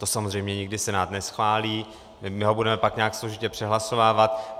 To samozřejmě nikdy Senát neschválí, my ho budeme pak nějak složitě přehlasovávat.